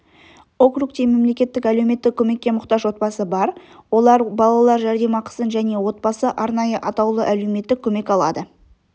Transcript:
округте мемлекеттік әлеуметтік көмекке мұқтаж отбасы бар олар балалар жәрдемақысын және отбасы арнайы атаулы әлеуметтік көмек алады